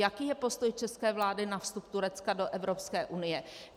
Jaký je postoj české vlády na vstup Turecka do Evropské unie?